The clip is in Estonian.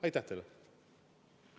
Aitäh teile!